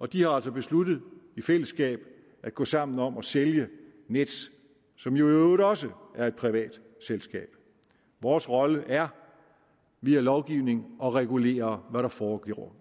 og de har altså besluttet i fællesskab at gå sammen om at sælge nets som jo i øvrigt også er et privat selskab vores rolle er via lovgivning at regulere hvad der foregår